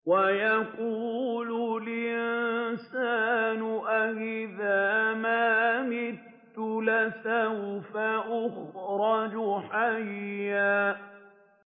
وَيَقُولُ الْإِنسَانُ أَإِذَا مَا مِتُّ لَسَوْفَ أُخْرَجُ حَيًّا